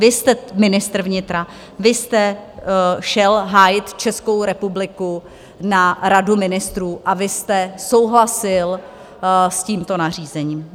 Vy jste ministr vnitra, vy jste šel hájit Českou republiku na Radu ministrů a vy jste souhlasil s tímto nařízením.